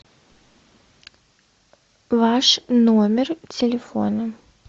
ваш номер телефона